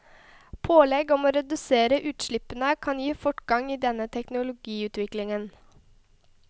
Pålegg om å redusere utslippene kan gi fortgang i denne teknologiutviklingen.